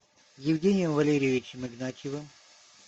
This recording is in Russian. евгением валерьевичем игнатьевым